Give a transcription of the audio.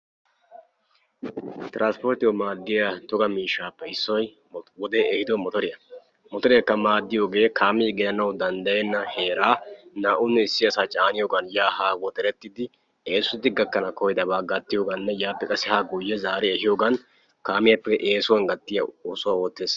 Tiranspporttiyawu maaddiya toga miishshaappe issoy motoriya. Motoreekka maaddiyogee kaamee gelanawu danddayenna heeraa issuwanne naa"u asaa caaniyogan yaa haa woxerettidi gakkana danddayiyogaanne yaappe haa zaariyogan kaame gakkana danddayenna oosuwa eesotidi oottees.